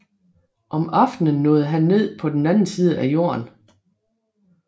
Om aftenen nåede han ned på den anden side af Jorden